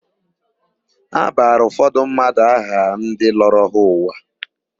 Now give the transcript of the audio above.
A bara ụfọdụ mmadụ aha ndị lọrọ ha ụwa.